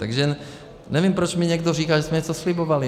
Takže nevím, proč mi někdo říká, že jsme něco slibovali.